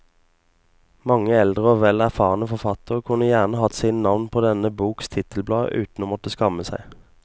Mange eldre og vel erfarne forfattere kunne gjerne hatt sine navn på denne boks titelblad uten å måtte skamme seg.